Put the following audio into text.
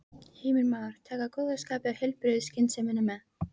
Heimir Már: Taka góða skapið og heilbrigðu skynsemina með?